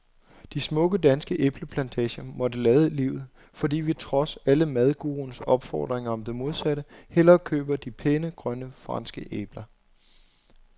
De smukke, danske æbleplantager måtte lade livet, fordi vi trods alle madguruernes opfordringer om det modsatte hellere køber de pæne, grønne franske æbler.